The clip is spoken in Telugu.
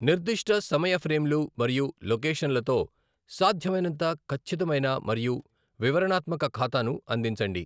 నిర్దిష్ట సమయ ఫ్రేమ్లు మరియు లొకేషన్లతో సాధ్యమైనంత ఖచ్చితమైన మరియు వివరణాత్మక ఖాతాను అందించండి.